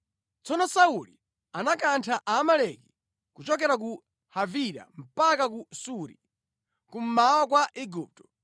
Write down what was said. Tsono Sauli anakantha Aamaleki kuchokera ku Havila mpaka ku Suri, kummawa kwa Igupto.